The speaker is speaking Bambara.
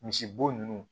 Misibo ninnu